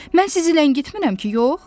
Mən sizi ləngitmirəm ki, yox?